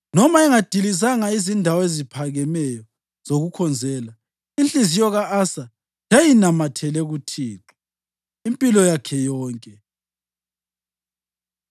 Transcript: Noma engadilizanga izindawo eziphakemeyo zokukhonzela, inhliziyo ka-Asa yayinamathele kuThixo impilo yakhe yonke.